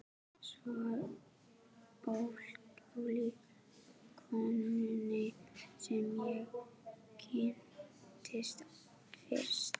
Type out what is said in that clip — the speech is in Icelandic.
Svo ólík konunni sem ég kynntist fyrst.